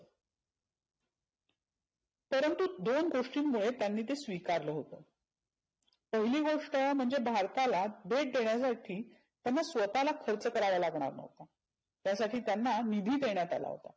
परंतू दोन गोष्टीमुळं त्यांनी ते स्विकारलं होतं. पहिली गोष्ट म्हणजे भारताला भेट देण्यासाठी त्यांना स्वतःला खर्च करावा लागणार नव्हता. त्या साठी त्यांना निधी देण्यात आला होता.